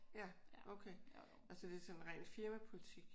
Ja. Okay nå så det er sådan rent firmapolitik?